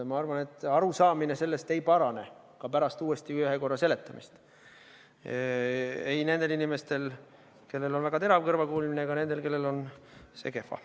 Ma arvan, et arusaamine sellest ei parane ka pärast uuesti seletamist – ei nendel inimestel, kellel on väga terav kõrvakuulmine, ega nendel, kellel on see kehva.